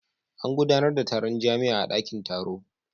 An gudanar da taron jami'a a dakin taro.